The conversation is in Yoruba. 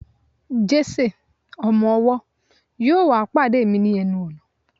Jese, ọmọ ọwọ, yíò wá pade mi ni enu ọnà